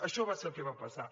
això va ser el que va passar